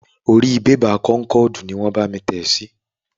Orí bébà kónkọ̀dù ni wàá bámi tẹ sí.